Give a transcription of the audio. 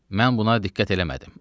Mən buna diqqət eləmədim.